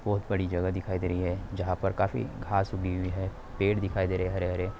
बहुत बड़ी जगह दिखाई दे रही है। जहाँ पर काफी घास उगी हुई है। पेड़ दिखाई दे रहे है हरे हरे।